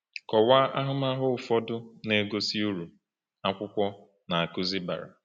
Kọwaa ahụmahụ ụfọdụ na-egosi uru akwụkwọ Na-akụzi bara.